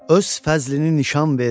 Öz fəzlini nişan ver.